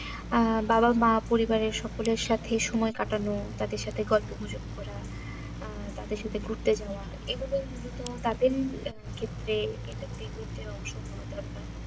আহ বাবা মা পরিবারের সকলের সাথে সময় কাটানো তাদের সাথে গল্প গুজব করা আহ তাদের সাথে ঘুরতে যাওয়া এগুলোইমূলত তাদের আহ ক্ষেত্রে entertainment এর অংশ হওয়া দরকার